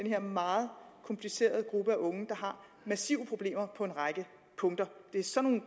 her meget komplicerede gruppe af unge der har massive problemer på en række punkter det er sådan